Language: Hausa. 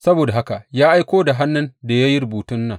Saboda haka ya aiko da hannun da ya yi rubutun nan.